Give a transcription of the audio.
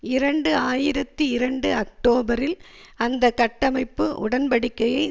இரண்டு ஆயிரத்தி இரண்டு அக்டோபரில் அந்த கட்டமைப்பு உடன்படிக்கையை